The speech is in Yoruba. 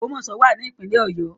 Ogbomoso wa ni ipinle Oyo